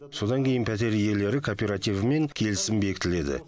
содан кейін пәтер иелері кооперативімен келісім бекітіледі